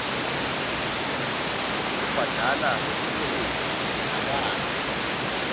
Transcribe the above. kubhadala tikweleti akate